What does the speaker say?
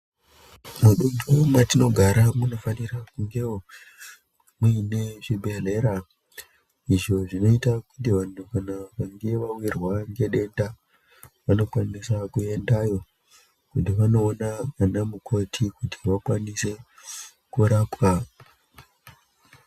Mudunhu mwatinogara munofanira kungewo muine zvibhedhlera. Izvo zvinoita kuti vantu vakange vawirwa ngedenda vanokwanisa kuendayo kuti vanoona ana mukoti kuti vakwanise kurapwa.